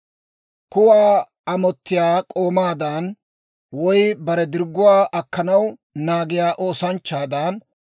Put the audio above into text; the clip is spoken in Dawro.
Kuwaa amottiyaa k'oomaadan, woy bare dirgguwaa akkanaw naagiyaa oosanchchaadan,